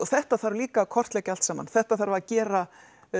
þetta þarf líka að kortleggja allt saman þetta þarf að gera